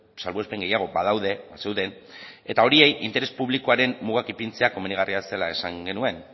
salbuespen gehiago badaude bazeuden eta horiei interes publikoaren mugak ipintzea komenigarria zela esan genuen